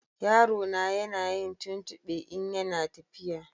Yarona na yin tuntube in ya na tafiya